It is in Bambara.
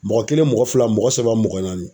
Mɔgɔ kelen mɔgɔ fila mɔgɔ saba mɔgɔ naani.